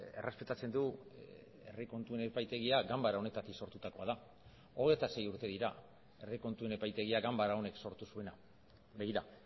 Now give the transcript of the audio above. errespetatzen du herri kontuen epaitegia ganbara honetatik sortutakoa da hogeita sei urte dira herri kontuen epaitegia ganbara honek sortu zuena begira